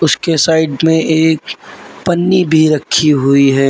उसके साइड में एक पन्नी भी रखी हुई है।